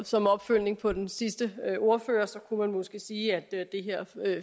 som opfølgning på den sidste ordfører kunne man måske sige at det her